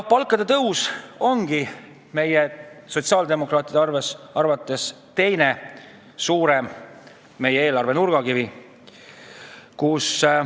Palkade tõus ongi meie, sotsiaaldemokraatide arvates teine suur eelarve nurgakivi.